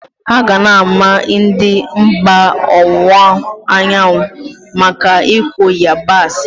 A ga na ama ndị mba owunwa anyawu maka ikụ yabasị.